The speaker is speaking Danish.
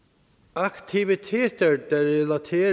aktiviteter der relaterer